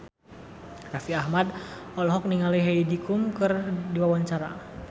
Raffi Ahmad olohok ningali Heidi Klum keur diwawancara